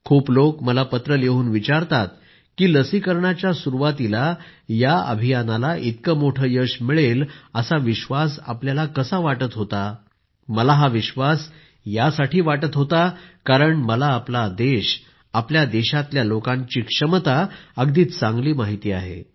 खूप लोक मला पत्र लिहून विचारतात की लसीकरणाच्या सुरूवातीलाच या अभियानाला इतकं मोठं यश मिळेल असा विश्वास आपल्याला कसा वाटत होता मला हा विश्वास यासाठी वाटत होता कारण मला आपला देश आपल्या देशाच्या लोकांची क्षमता अगदी चांगली माहित आहे